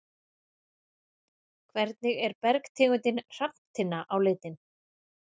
Hvernig er bergtegundin hrafntinna á litinn?